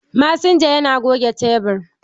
Masinja yana goge tebur.